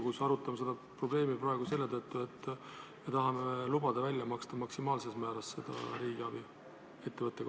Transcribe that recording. Kas me arutame seda probleemi Riigikogus praegu seetõttu, et tahame lubada ühe ettevõtte kohta välja maksta maksimaalsel määral riigiabi?